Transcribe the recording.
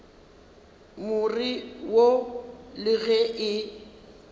more wo le ge e